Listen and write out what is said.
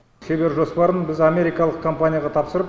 шебер жоспарын біз америкалық компанияға тапсырып